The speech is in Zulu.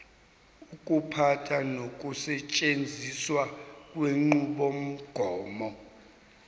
ukuphatha nokusetshenziswa kwenqubomgomo